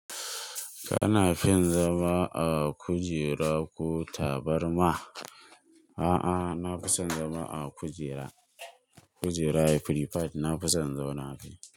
Kana fin zama a kujera ko tabarma? A'a, na fi son zama a kujera. Kujera ya free fad, na fi son in zauna akai.